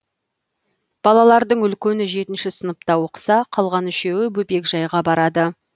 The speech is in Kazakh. балалардың үлкені жетінші сыныпта оқыса қалған үшеуі бөбекжайға барады